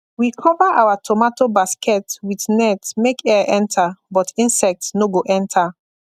we cover our tomato basket with net make air enter but insect no go enter